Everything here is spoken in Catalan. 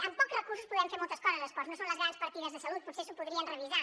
amb pocs recursos podem fer moltes coses a esports no són les grans partides de salut potser s’ho podrien revisar